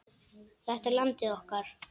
Þetta er landið okkar.